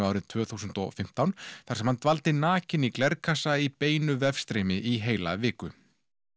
árið tvö þúsund og fimmtán þar sem hann dvaldi nakinn í glerkassa í beinu vefstreymi í heila viku